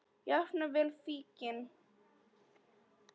Jafnvel fíkn.